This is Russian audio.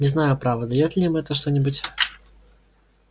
не знаю право даёт ли им это что-нибудь